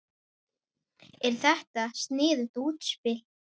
Er þetta sniðugt útspil?